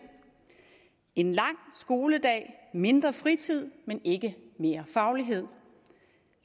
en lang skoledag mindre fritid men ikke mere faglighed